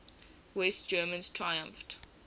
west germans triumphed